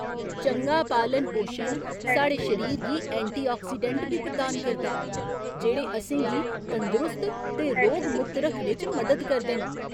चंगा पालन पोशन साढ़े शरीर गी एंटीआक्सीडेंट बी प्रदान करदा ऐ जेह्ड़े असें गी तंदुरुस्त ते रोग मुक्त रक्खने च मदद करदे न।